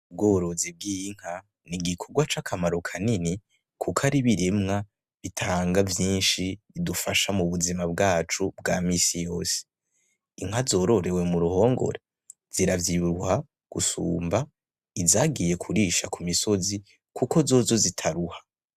Ubworozi bw’inka n'igikorwa cy'akamaro kanini kuko ari ibirimwa bitanga vyinshi bidufasha mu buzima bwacu bwa minsi yose. Inka zororewe mu ruhongore ziravyibuha gusumba izagiye kurisha ku misozi kuko zozo zitaruha.